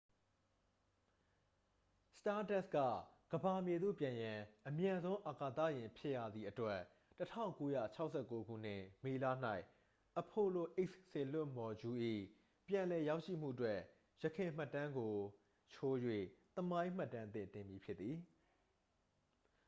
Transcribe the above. စတားဒက်စ် က ကမ္ဘာမြေသို့ ပြန်ရန် အမြန်ဆုံးအာကာသယာဉ်ဖြစ်ရသည့်အတွက် 1969 ခုနှစ် မေလ၌ apollo x စေလွှတ်မော်ဂျူး၏ ပြန်လည်ရောက်ရှိမှုအတွက် ယခင်မှတ်တမ်းကို ချိုး၍ သမိုင်းမှတ်တမ်းသစ်တင်မည်ဖြစ်သည်